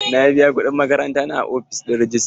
Na biya kuɗin makaranta na a ofishin rejista.